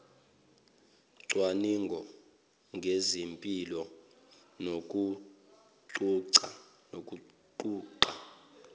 cwaningo ngezempilo nokuguga